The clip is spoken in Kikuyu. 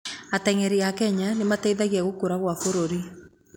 Atengeri a Kenya nĩmateithagia gũkũra kwa bũrũri